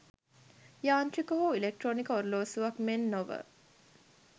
යාන්ත්‍රික හෝ ඉලෙක්ට්‍රොනික ඔරලෝසුවක් මෙන් නොව